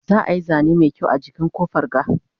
za'a Yi zane Mai kyau a jikin ƙofar ga